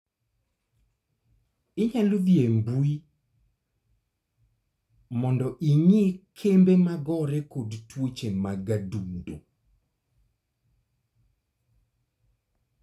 Inyalo dhi e mbui mondo ing'i kembe magore kod tuoche mag adundo